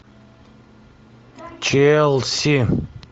челси